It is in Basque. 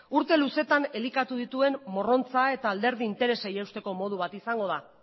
urte luzeetan elikatu dituen morrontza eta alderdi interesei eusteko modu bat izango da